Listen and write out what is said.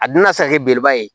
A dunna sa ni belebeleba ye